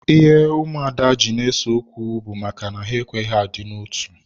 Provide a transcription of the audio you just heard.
Ụmụada ji na ese okwu bụ maka na ha ekweghị adị na otu.